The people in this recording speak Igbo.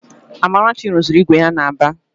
Amarachi rụziri ígwè ya n'Aba